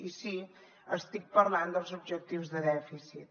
i sí estic parlant dels objectius de dèficit